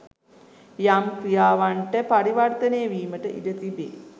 යම් ක්‍රියාවන්ට පරිවර්තනය වීමට ඉඩ තිබේ.